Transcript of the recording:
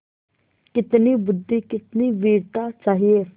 कितनी बुद्वि कितनी वीरता चाहिए